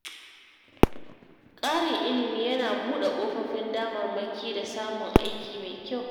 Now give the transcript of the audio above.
Ƙarin ilimi yana buɗe kofofin damarmaki da samun aiki mai kyau.